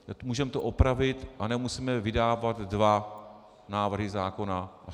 Můžeme to opravit a nemusíme vydávat dva návrhy zákona.